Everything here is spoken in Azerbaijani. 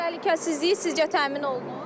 Təhlükəsizliyi sizcə təmin olunub?